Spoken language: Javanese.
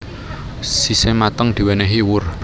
Sise mateng diwenehi wur